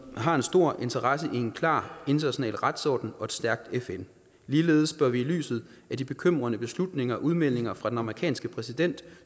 har en stor interesse i en klar international retsorden og et stærkt fn ligeledes bør vi i lyset af de bekymrende beslutninger og udmeldinger fra den amerikanske præsident